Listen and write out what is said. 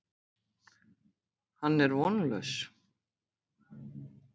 Hann er vonlaus.